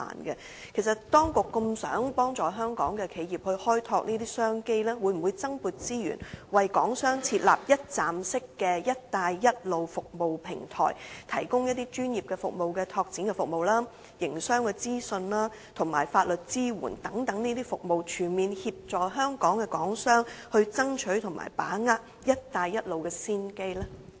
其實，當局希望幫助香港的企業去開拓這些商機，會否增撥資源，為港商設立一站式的"一帶一路"服務平台，提供專業的市場拓展服務、營商資訊及法律支援等服務，全面協助港商爭取及把握"一帶一路"倡議的先機呢？